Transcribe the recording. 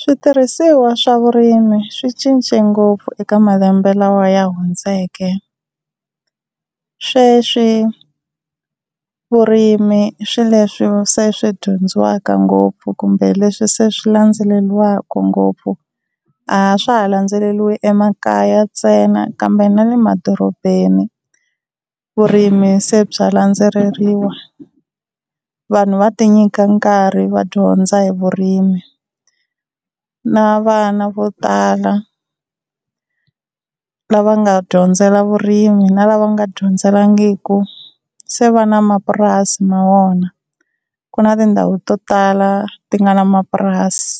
Switirhisiwa swa vurimi swi cince ngopfu eka malembe lawa ya hundzeke, sweswi vurimi swi leswi se swi dyondzisiwaka ngopfu kumbe leswi se swi landzeleriwaka ngopfu, a swa ha landzeleriwi emakaya ntsena kambe na le madorobeni vurimi se bya landzeleriwa. Vanhu va ti nyika nkarhi va dyondza hi vurimi na vana vo tala lava nga dyondzela vurimi na lava nga dyondzelangiku se va na mapurasi ma vona. Ku na tindhawu to tala ti nga na mapurasi